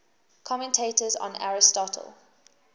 commentators on aristotle